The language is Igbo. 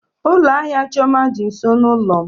Ụlọ ahịa Chioma dị nso n'ụlọ m.